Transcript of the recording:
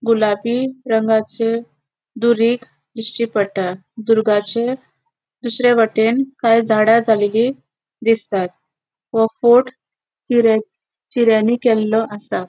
गुलाबी रंगाचे दूरीग दिस्टि पट्टा दुर्गाचे दुसर्यावटेन काय झाडा झालेली दिसतात वो फोर्ट चिरे चिर्यानी केल्लो आसा.